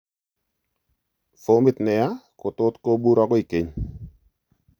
Fomit neyaa kotot kobur akoikeny